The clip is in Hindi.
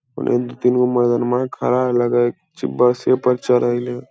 उन्ने दु-तीन गो मरदनमा खड़ा लगय छे बसे पर चढ़य लय।